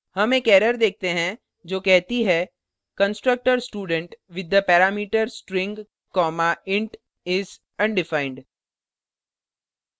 हम एक error देखते हैं जो कहती है constructor student with the parameter string comma int is undefined